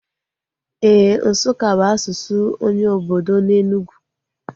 Éè, Nsukka bụ asụsụ onye obodo na Enugwu